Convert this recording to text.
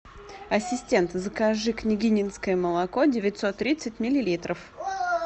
ассистент закажи княгининское молоко девятсот тридцать миллилитров